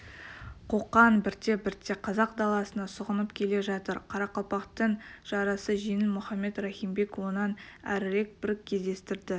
қоқан бірте-бірте қазақ даласына сұғынып келе жатыр қарақалпақтың жарасы жеңіл мұхаммед рахимбек онан әрірек бір кездерді